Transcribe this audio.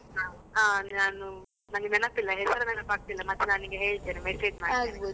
ಹಾ ಅಂದ್ರೆ ನಾನು ನನ್ಗೆ ನೆನಪಿಲ್ಲ ಹೆಸರು ನೆನಪಾಗ್ತಿಲ್ಲ, ಮತ್ತೆ ನಾನು ನಿನ್ಗೆ ಹೇಳ್ತೇನೆ message .